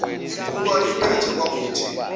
ibhuku aliphethe kwakuthi